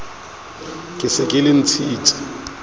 ke se ke le ntshitse